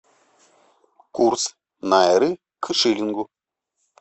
курс найры к шиллингу